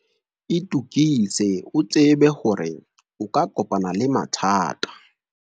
itokise o tsebe hore o ka kopana le mathata.